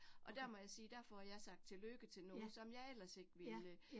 Og der må jeg sige, der får jeg sagt tillykke til nogen, som jeg ellers ikke ville